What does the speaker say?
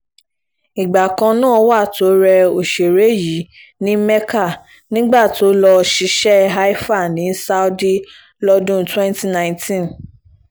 ìgbà kan náà wà tó rẹ òṣèré yìí ní mékà nígbà tó lọ́ọ́ ṣiṣẹ́ haifa ní saudi lọ́dún twenty nineteen